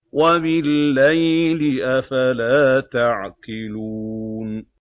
وَبِاللَّيْلِ ۗ أَفَلَا تَعْقِلُونَ